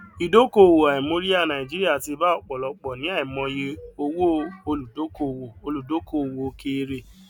ìdókòwò àìmóríyá nàìjíríà ti bá ọpọlọpọ ní àìmọye owó olùdókòwò olùdókòwò òkèèrè